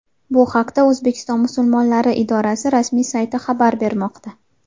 Bu haqda O‘zbekiston musulmonlari idorasi rasmi sayti xabar bermoqda.